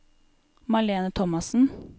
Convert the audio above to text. Malene Thomassen